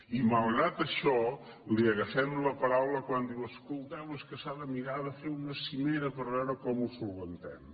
i malgrat això li agafem la paraula quan diu escolteu és que s’ha de mirar de fer una cimera per veure com ho solucionem